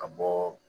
Ka bɔ